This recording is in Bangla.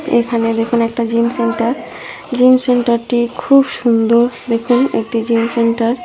এখানে দেখুন একটা জিম সেন্টার জিম সেন্টারটি -টি খুব সুন্দর দেখুন একটি জিন সেন্টার ।